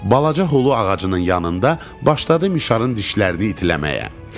Balaca hulu ağacının yanında başladı mişarın dişlərini itiləməyə.